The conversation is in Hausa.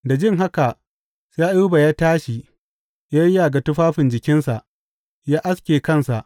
Da jin haka sai Ayuba ya tashi ya yayyaga tufafin jikinsa, ya aske kansa.